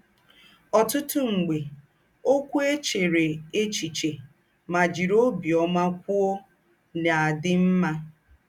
Ọ̀tútù m̀gbè, ókwú è chèrè échichè mà jìrì óbìọ́mà kwòó ná-àdí m̀mà.